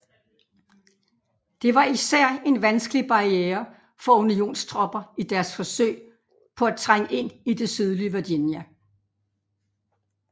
Det var især en vanskelig barriere for unionstropper i deres forsøg på at trænge ind i det sydlige Virginia